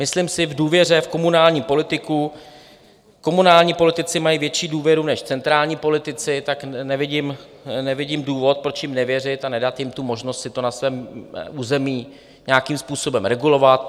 Myslím si v důvěře v komunální politiku - komunální politici mají větší důvěru než centrální politici, tak nevidím důvod, proč jim nevěřit a nedat jim tu možnost si to na svém území nějakým způsobem regulovat.